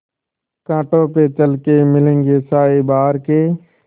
कांटों पे चल के मिलेंगे साये बहार के